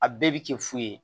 A bɛɛ bi kɛ fu ye